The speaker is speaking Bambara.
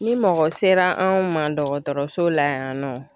Ni mɔgɔ sera anw ma dɔgɔtɔrɔso la yan nɔ